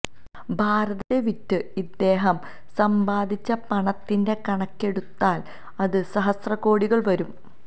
ഭാരതത്തെ വിറ്റ് ഇദ്ദേഹം സമ്പാദിച്ച പണത്തിന്റെ കണക്കെടുത്താല് അത് സഹസ്രകോടികള് വരും